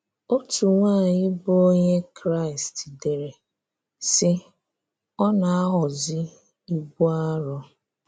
Òtù̀ nwanyị bụ́ Onyé Kraị́st dere, sị́: “Ọ́ na-aghọ́zị́ ibù arọ.”